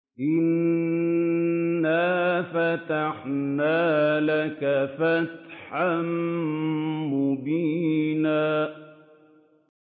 إِنَّا فَتَحْنَا لَكَ فَتْحًا مُّبِينًا